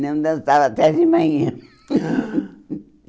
Não dançava até de manhã.